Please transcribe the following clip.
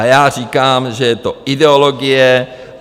A já říkám, že je to ideologie.